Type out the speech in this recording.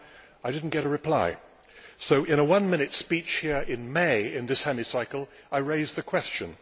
I did not get a reply, so in a one minute speech here in May in this Hemicycle I raised the question.